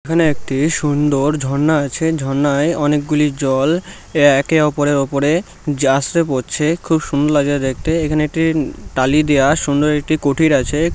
কি সুন্দর ঝর্ণা আছে। ঝর্ণায় অনেকগুলি জল একে ওপরের ওপরে যে আছড়ে পড়ছে খুব সুন্দর লাগছে দেখতে। এখানে একটি উম টালি দেওয়া সুন্দর একটি কুঠির আছে। কুঠিরে।